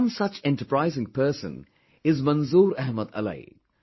One such enterprising person is Manzoor Ahmad Alai